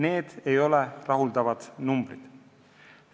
Need ei ole rahuldavad numbrid.